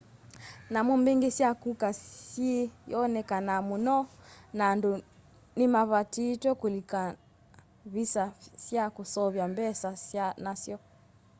nyamu mbingi sya kuka syiyonekanaa muno na andu ni mavatitwe kuikuna visa sya kusevya mbesa nasyo